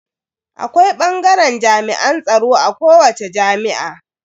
Akwai bangaren jami'an tsaro a kowace jami'a.